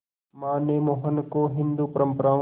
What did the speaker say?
मां ने मोहन को हिंदू परंपराओं